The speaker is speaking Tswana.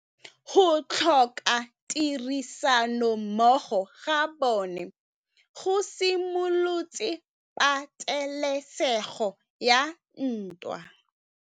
Go tlhoka tirsanommogo ga bone go simolotse patêlêsêgô ya ntwa.